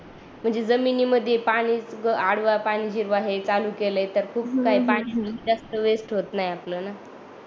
म्हणजे जमिनी मध्ये पाणी आडवा पाणी जिरवा हे चालू केले तर खूप काही पाणी जास्त वेस्ट होत नाही